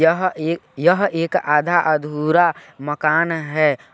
यह एक यह एक आधा अधुरा मकान हैं।